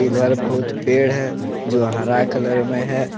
इधर बहुत पेड़ है जो हरा कलर में है।